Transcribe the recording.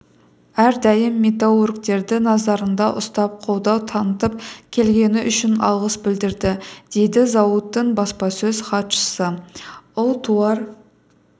әрдайым металлургтерді назарында ұстап қолдау танытып келгені үшін алғыс білдірді дейді зауыттың баспасөз хатшысы ұлтуар